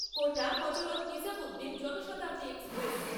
কোটা Hazrat Nizamuddin Janshatabdi express